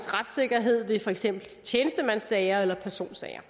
retssikkerhed ved for eksempel tjenestemandssager eller personsager